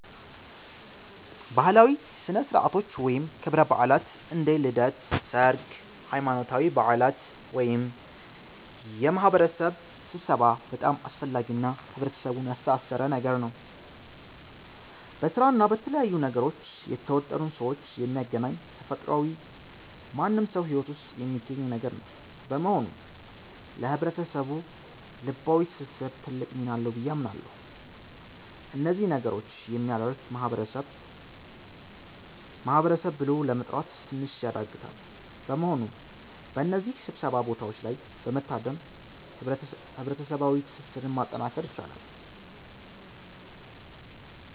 ባህላዊ ሥነ ሥርዓቶች ወይም ክብረ በዓላት (እንደ ልደት፣ ሠርግ፣ ሃይማኖታዊ በዓላት )ወይም የማህበረሰብ ስብሠባ በጣም አስፈላጊ እና ህብረተሰቡን ያስተሣሠረ ነገር ነው። በስራ እና በተለያዩ ነገሮች የተወጠሩን ሠዎች የሚያገናኝ ተፈጥሯዊ ማንም ሠው ሂወት ውስጥ የሚገኝ ነገር ነው። በመሆኑ ለህብረተሰቡ ልባዊ ትስስር ትልቅ ሚና አለው ብዬ አምናለሁ። እነዚህ ነገሮች የሚያደርግ ማህበረሰብ ማህበረሰብ ብሎ ለመጥራት ትንሽ ያዳግታል። በመሆኑም በእነዚህ ሥብሰባ ቦታዎች ላይ በመታደም ህብረሠባዋ ትስስርን ማጠናከር ይቻላል።